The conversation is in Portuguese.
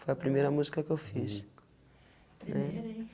Foi a primeira música que eu fiz. É primeira hein?